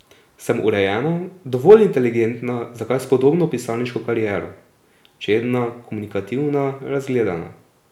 Sem urejena, dovolj inteligentna za kar spodobno pisarniško kariero, čedna, komunikativna, razgledana.